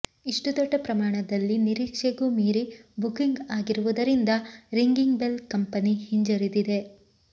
ಇಷ್ಟು ದೊಡ್ಡ ಪ್ರಮಾಣದಲ್ಲಿ ನಿರೀಕ್ಷೆಗೂ ಮೀರಿ ಬುಕಿಂಗ್ ಆಗಿರುವುದರಿಂದ ರಿಂಗಿಂಗ್ ಬೆಲ್ ಕಂಪನಿ ಹಿಂಜರಿದಿದೆ